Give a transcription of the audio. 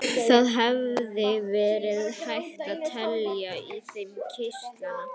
Það hefði verið hægt að telja í þeim kirtlana.